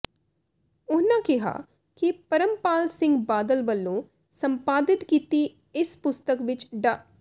ਉਨ੍ਹਾਂ ਕਿਹਾ ਕਿ ਪਰਮਪਾਲ ਸਿੰਘ ਬਾਦਲ ਵਲੋਂ ਸੰਪਾਦਿਤ ਕੀਤੀ ਇਸ ਪੁਸਤਕ ਵਿੱਚ ਡਾ